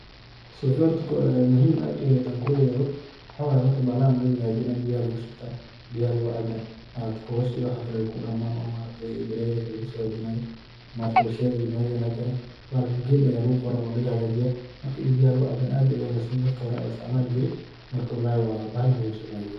Sheeka horta muhim aad u eh hadan kula wadaago waxawaye bahalahan horta mejan lugu hagaajinay biyaha aya lugu shubtaa, biyaha lugu cabaa, ma aragte kobasha iyo waxan kale wayku dhamaan oo ma aragtee balayada lagaso hagajinayo ma aragte warshadaha iyo malaha laga keeno, bahalkan ged aya laga qoore oo laga hagajiya marka ini biyaha lugu caabo aad ayay uwanaagsantahay marka dadka hore aya isticmaali jire marka walalhi waa bahal muhimsan ban ley